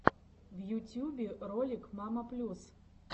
в ютюбе ролик мама плюс